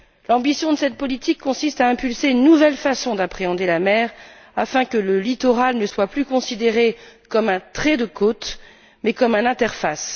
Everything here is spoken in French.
L'ambition de cette politique consiste à impulser une nouvelle façon d'appréhender la mer afin que le littoral ne soit plus considéré comme un trait de côte mais comme une interface.